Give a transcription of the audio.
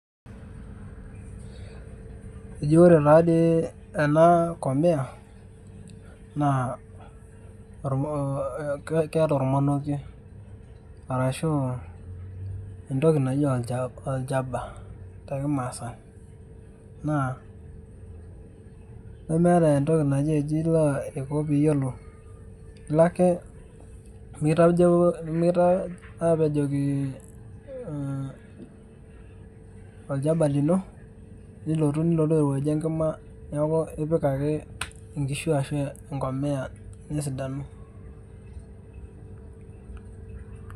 Eji ore tadii ena komiya, naa keeta ormonokie. Arashu entoki naji olchaba tekimaasai. Naa, nemeeta entoki naji ji ila aiko piyiolou. ilake mikita apejoki olchaba lino, nilotu airowuajie enkima, neeku ipik inkishu ashu enkomia nesidanu.